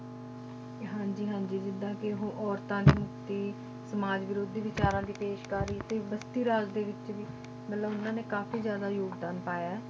ਹਾਂਜੀ ਹਾਂਜੀ ਜਿੱਦਾਂ ਕਿ ਉਹ ਔਰਤਾਂ ਦੀ ਮੁਕਤੀ, ਸਮਾਜ ਵਿਰੋਧੀ ਵਿਚਾਰਾਂ ਦੀ ਪੇਸ਼ਕਾਰੀ, ਤੇ ਬਸਤੀ ਰਾਜ ਦੇ ਵਿੱਚ ਵੀ ਮਤਲਬ ਉਹਨਾਂ ਨੇ ਕਾਫ਼ੀ ਜ਼ਿਆਦਾ ਯੋਗਦਾਨ ਪਾਇਆ ਹੈ,